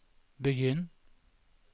begynn